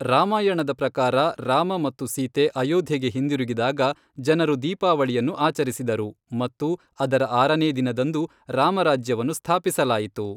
ರಾಮಾಯಣದ ಪ್ರಕಾರ ರಾಮ ಮತ್ತು ಸೀತೆ ಅಯೋಧ್ಯೆಗೆ ಹಿಂದಿರುಗಿದಾಗ, ಜನರು ದೀಪಾವಳಿಯನ್ನು ಆಚರಿಸಿದರು, ಮತ್ತು ಅದರ ಆರನೇ ದಿನದಂದು ರಾಮರಾಜ್ಯವನ್ನು ಸ್ಥಾಪಿಸಲಾಯಿತು.